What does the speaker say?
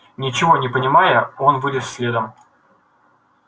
ничего не понимая он вылез следом